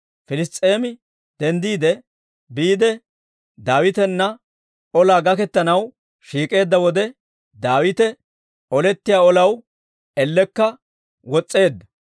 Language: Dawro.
Piliss's'eemi denddiide biide, Daawitana olaa gaketanaw shiik'eedda wode, Daawite olettiyaa olaw ellekka wos's'eedda.